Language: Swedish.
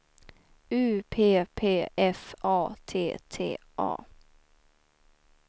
U P P F A T T A